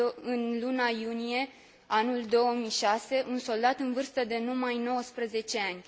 în luna iunie, anul 2006, un soldat în vârstă de numai 19 ani.